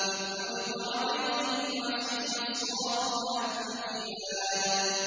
إِذْ عُرِضَ عَلَيْهِ بِالْعَشِيِّ الصَّافِنَاتُ الْجِيَادُ